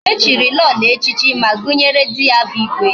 Echiri Lolo echichi, ma gunyere di ya bu igwe